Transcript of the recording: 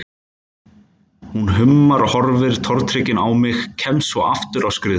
Hún hummar, horfir tortryggin á mig, kemst svo aftur á skrið.